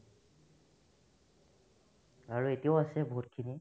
আৰু এতিয়াও আছে বহুতখিনি